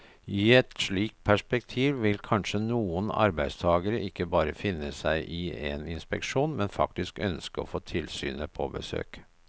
I et slikt perspektiv vil kanskje noen arbeidstagere ikke bare finne seg i en inspeksjon, men faktisk ønske å få tilsynet på besøk.